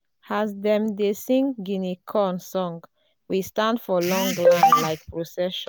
as dem dey sing guinea corn song we stand for long line like procession.